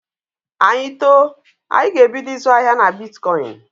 Anyị too, anyị ga-ebido ịzụ ahịa na bitkọịnị.